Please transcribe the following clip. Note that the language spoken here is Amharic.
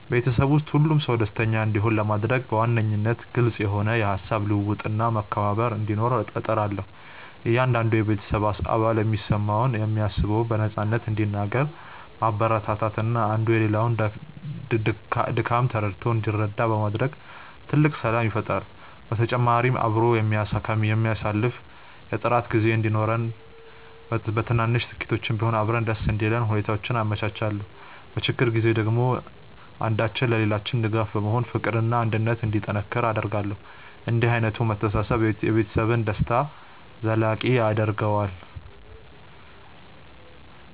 በቤተሰቤ ውስጥ ሁሉም ሰው ደስተኛ እንዲሆን ለማድረግ በዋነኝነት ግልጽ የሆነ የሃሳብ ልውውጥና መከባበር እንዲኖር እጥራለሁ። እያንዳንዱ የቤተሰብ አባል የሚሰማውንና የሚያስበውን በነፃነት እንዲናገር ማበረታታትና አንዱ የሌላውን ድካም ተረድቶ እንዲረዳዳ ማድረግ ትልቅ ሰላም ይፈጥራል። በተጨማሪም አብሮ የሚያሳልፍ የጥራት ጊዜ እንዲኖረንና በትንንሽ ስኬቶችም ቢሆን አብረን ደስ እንዲለን ሁኔታዎችን አመቻቻለሁ። በችግር ጊዜ ደግሞ አንዳችን ለሌላችን ደጋፊ በመሆን ፍቅርና አንድነት እንዲጠናከር አደርጋለሁ። እንዲህ ዓይነቱ መተሳሰብ የቤተሰብን ደስታ ዘላቂ ያደርገዋል።